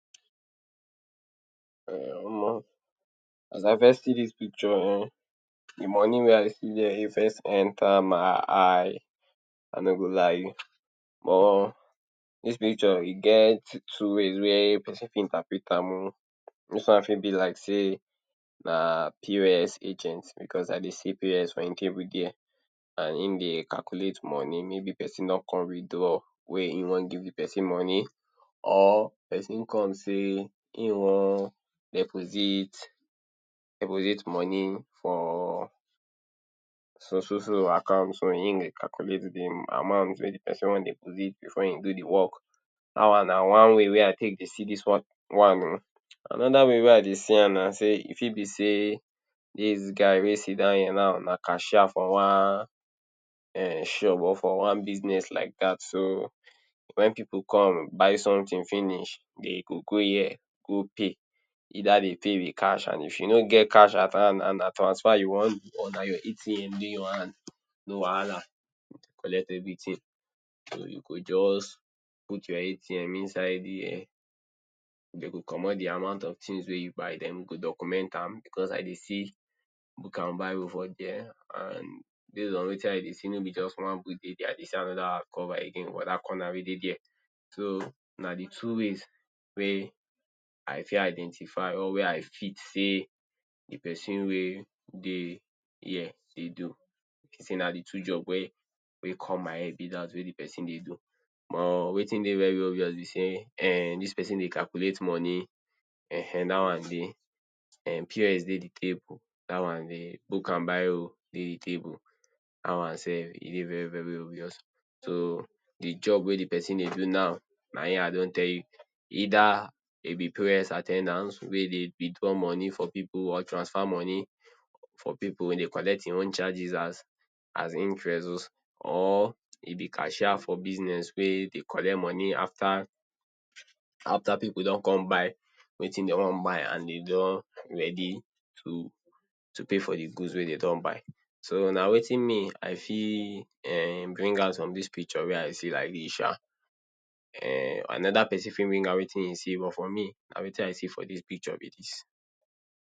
Um omo as I first see dis picture um de money wey I dey see there e first enter my eye, I nor go lie you but dis picture e get two ways wey person fit interpret am um, dis one fit be like sey na POS agent because I dey see POS for im table there and im dey calculate money, maybe person don come withdraw wey im want give de person money or person come sey im want deposit deposit money for so so account, so im dey calculate de amount wey de person want deposit before him do de work. Dat one na one way wey I take dey see dis one one um. Another way wey I dey sey am na e fit be sey dis guy wey sidan here now na cashier for one shop or for one business like dat, so when pipu come buy something finish de dey go go here go pay either dem pay with cash and if you nor get cash at hand and na transfer you want do or na your ATM dey your hand no wahala, collect everything so you go just put your ATM inside there, den go commot de amount of things wey you buy, den dem go document am, because I dey see book and biro for there and based on wetin I dey see nor be just one book dey there I dey see another cover again for dat corner wey dey there. So na de two ways wey I fi identify or wey I fit sey de person wey dey here dey do, sey na de two job wey wey come my head wey de person dey do. Omo wetin dey very obvious be sey um dis person dey calculate money um dat one dey um POS dey de table, da one dey book and biro dey de table, dat one self e dey very very obvious. So de job wey de person dey do now na im I don tell you either he be POS at ten dant wey dey withdraw money for pipu or transfer money for pipu dey collect im own charges as as interest or he be cashiers for business wey dey collect money after after pipu don come buy wetin dem want buy and de don ready to to pay for de goods wey dem don buy, so na wetin me I fit um bring out from dis picture wey I see like dis sha, um another person fit bring out wetin e see but for me na wetin I see for dis picture be dis.